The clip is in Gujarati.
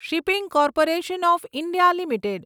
shipping corporation of India limited